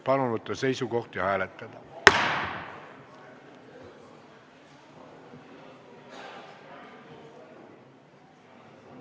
Palun võtta seisukoht ja hääletada!